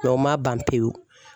o ma ban pewu.